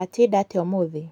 Watinnda atĩa ũmũthĩ?